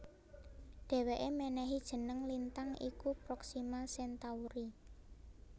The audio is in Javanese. Dhèwèké mènèhi jeneng lintang iku Proxima Centauri